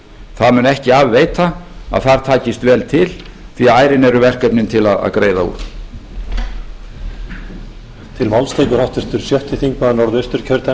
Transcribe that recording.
það mun ekki af veita að þar takist vel til því ærin eru verkefnin til að greiða úr lauk á fyrri sp